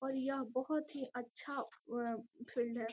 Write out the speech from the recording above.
और यह बहुत ही अच्छा आं फील्ड है |